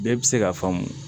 Bɛɛ bɛ se k'a faamu